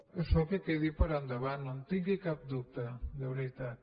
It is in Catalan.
això que quedi per endavant no en tingui cap dubte de veritat